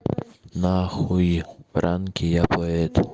на хуй пранки я поэт